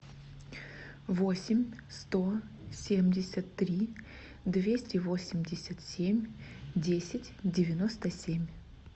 восемь сто семьдесят три двести восемьдесят семь десять девяносто семь